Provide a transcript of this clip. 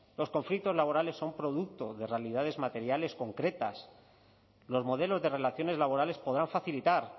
los conflictos laborales son producto de realidades materiales concretas los modelos de relaciones laborales podrá facilitar